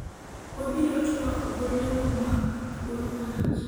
waribo twak gonde wa mag thuolo malach